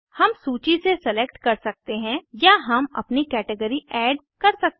हम सूची से सेलेक्ट कर सकते हैं या हम अपनी कैटेगरी ऐड कर सकते हैं